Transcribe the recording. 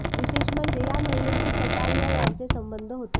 विशेष म्हणजे या महिलेशी कटारीया यांचे संबंध होते